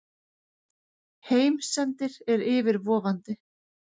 Heimsendir er yfirvofandi.